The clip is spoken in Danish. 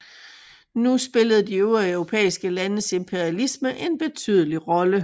Nu spillede de øvrige europæiske landes imperialisme en betydelig rolle